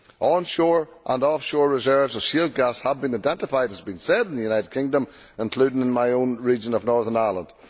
Onshore and offshore reserves of shale gas have been identified as being safe in the United Kingdom, including in my own region of Northern Ireland.